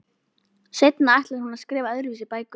Seinna ætlar hún að skrifa öðruvísi bækur.